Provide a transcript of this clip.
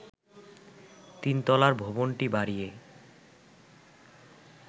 তিন তলা ভবনটি বাড়িয়ে